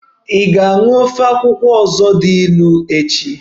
Ị ga-aṅụ ofe akwụkwọ ọzọ dị ilu echi!